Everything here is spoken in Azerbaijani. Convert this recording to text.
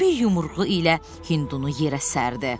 bir yumruğu ilə Hindunu yerə sərdi.